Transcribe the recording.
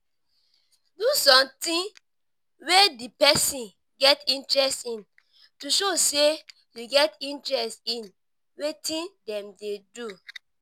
do something wey di person get interest in to show sey you get interest in wetin dem dey do